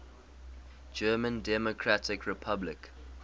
german democratic republic